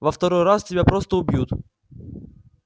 во второй раз тебя просто убьют